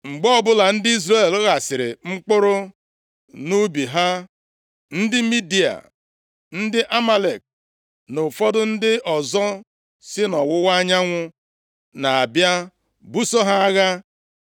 Mgbe ọbụla ndị Izrel ghasịrị mkpụrụ nʼubi ha, ndị Midia, ndị Amalek na ụfọdụ ndị ọzọ si nʼọwụwa anyanwụ na-abịa buso ha agha.